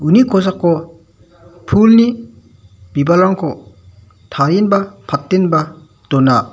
uni kosako pulni bibalrangko tarienba patenba dona.